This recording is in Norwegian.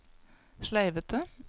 sleivete